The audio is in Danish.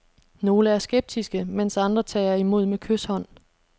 Nogle er skeptiske, mens andre tager imod med kyshånd.